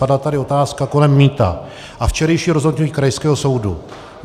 Padla tady otázka kolem mýta a včerejší rozhodnutí krajského soudu.